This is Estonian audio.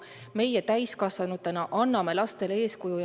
Meie täiskasvanutena anname lastele eeskuju.